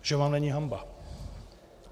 Že vám není hanba!